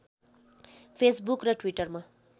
Facebook र ट्विटरमा